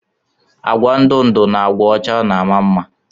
Agwa ndụ ndụ na agwa ọcha na ama mma.